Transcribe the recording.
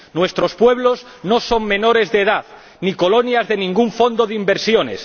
Nuestros pueblos no son menores de edad, ni colonias de ningún fondo de inversiones